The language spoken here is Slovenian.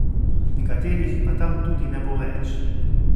Nekaterih pa tam tudi ne bo več.